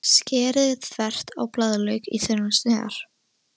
Skerið þvert á blaðlauk í þunnar sneiðar.